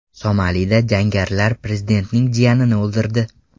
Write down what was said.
Somalida jangarilar prezidentning jiyanini o‘ldirdi.